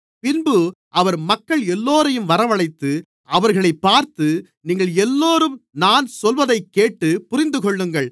பின்பு அவர் மக்கள் எல்லோரையும் வரவழைத்து அவர்களைப் பார்த்து நீங்கள் எல்லோரும் நான் சொல்வதைக்கேட்டுப் புரிந்துகொள்ளுங்கள்